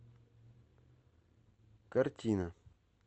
картина